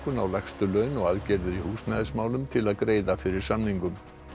á lægstu laun og aðgerðir í húsnæðismálum til að greiða fyrir samningum